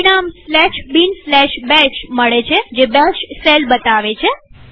પરિણામ binbash મળે છેજે બેશ શેલ બતાવે છે